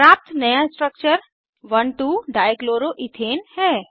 प्राप्त नया structure 12 dichloroethane है